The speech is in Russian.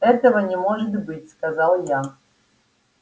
этого не может быть сказал я